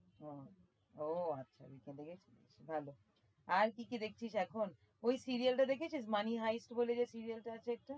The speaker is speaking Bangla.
হম ওহ আচ্ছা weekend এ গেছিলি? ভালো আর কি কি দেখছিস এখন? ওই serial টা দেখেছিস? money hive বলে যে serial আছে একটা।